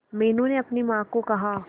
मीनू ने अपनी मां को कहा